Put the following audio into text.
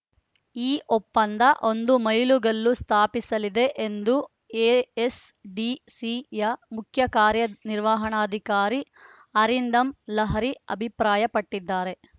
ಈ ಒಪ್ಪಂದ ಒಂದು ಮೈಲುಗಲ್ಲು ಸ್ಥಾಪಿಸಲಿದೆ ಎಂದು ಎ‌ಎಸ್‌ಡಿಸಿಯ ಮುಖ್ಯ ಕಾರ್ಯ ನಿರ್ವಹಣಾಧಿಕಾರಿ ಅರಿಂದಮ್ ಲಹಿರಿ ಅಭಿಪ್ರಾಯಪಟ್ಟಿದ್ದಾರೆ